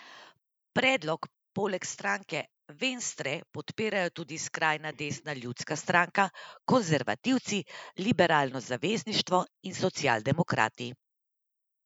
Predlog poleg stranke Venstre podpirajo tudi skrajna desna Ljudska stranka, konservativci, Liberalno zavezništvo in socialdemokrati.